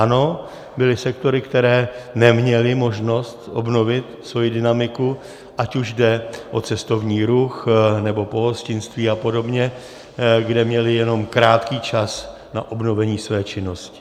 Ano, byly sektory, které neměly možnost obnovit svoji dynamiku, ať už jde o cestovní ruch, nebo pohostinství a podobně, kde měli jenom krátký čas na obnovení své činnosti.